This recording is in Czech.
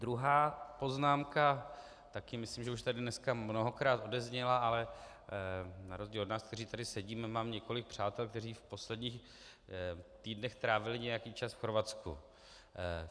Druhá poznámka, také myslím, že už tady dneska mnohokrát odezněla, ale na rozdíl od nás, kteří tady sedíme, mám několik přátel, kteří v posledních týdnech trávili nějaký čas v Chorvatsku.